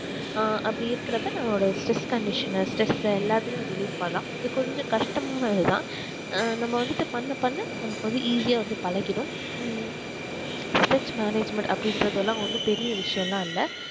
ஆஹ் அப்டி இருக்குற அப்ப நம்மளோட stress condition stress எல்லாத்தியுமே relief பண்ணலாம் இது கொஞ்சம் கஷ்ட்டமானது தான் ஆஹ் நம்ம வந்துட்டு பண்ண பண்ண நமக்கு வந்து easy ஆஹ் வந்து பழகிடும் ஹம் management அப்டிங்குரதலாம் ஒன்னும் பெரிய விஷயம் இல்ல